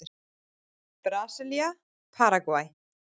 Brasilía- Paragvæ